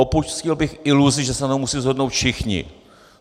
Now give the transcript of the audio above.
Opustil bych iluzi, že se na tom musí shodnout všichni.